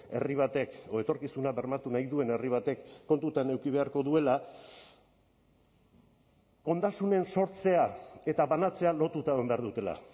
herri batek edo etorkizuna bermatu nahi duen herri batek kontutan eduki beharko duela ondasunen sortzea eta banatzea lotuta egon behar dutela